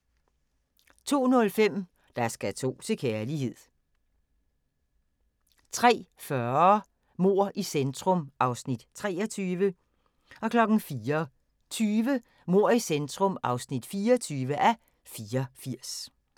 02:05: Der skal to til kærlighed 03:40: Mord i centrum (23:84) 04:20: Mord i centrum (24:84)